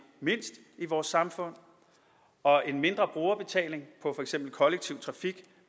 mindst i vores samfund og en mindre brugerbetaling på for eksempel kollektiv trafik